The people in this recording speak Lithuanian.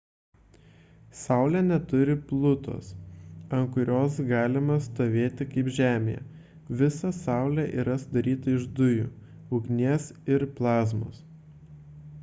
saulė neturi plutos ant kurios galima stovėti kaip žemėje visa saulė yra sudaryta iš dujų ugnies ir plazmos